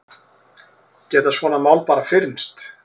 Geta svona mál bara fyrnst?